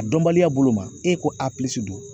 A dɔnbaliya bolo ma e ko a pilisi don